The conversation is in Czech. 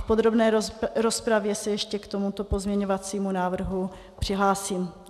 V podrobné rozpravě se ještě k tomuto pozměňovacímu návrhu přihlásím.